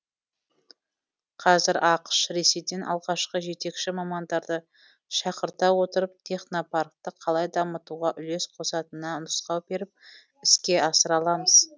қазір ақш ресейден алғашқы жетекші мамандарды шақырта отырып технопаркті қалай дамытуға үлес қосатынына нұсқау беріп іске асыра аламыз